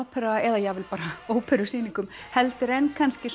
Opera eða jafnvel bara óperusýningum heldur en kannski